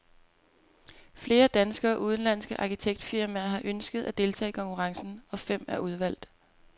Flere danske og udenlandske arkitektfirmaer har ønsket at deltage i konkurrencen, og fem er udvalgt.